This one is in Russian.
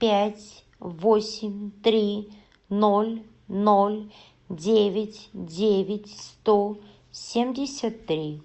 пять восемь три ноль ноль девять девять сто семьдесят три